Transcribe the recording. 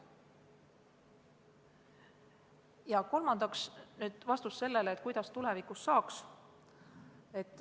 Ja kolmandaks, vastus sellele, kuidas saaks tulevikus paremini.